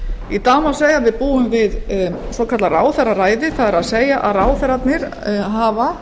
í dag má segja að við búum við svokallað ráðherraræði það er að ráðherrarnir hafa